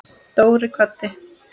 Dóri kvaddi.